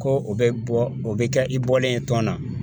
Ko o bɛ bɔ o bɛ kɛ i bɔlen ye tɔn na